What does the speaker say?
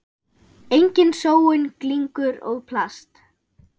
Engin sóun, glingur og plast.